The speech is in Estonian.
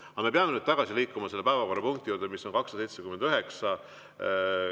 Aga me peame nüüd tagasi liikuma päevakorrapunkti juurde, milleks on eelnõu 279.